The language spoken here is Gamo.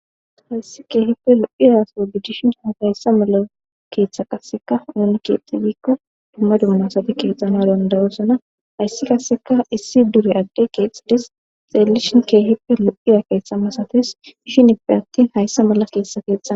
Hayssi keehippe lu7iyaso didishin hafayssa mala keeththa qasseka ooni keexxi giikko dumma dummasate keexxana dandayosana hayssi qasseka issi dure adde keexxides xeellishin keehippe lu7iya keeththa masates dishinippe attin hayssa mala teessa keexxana.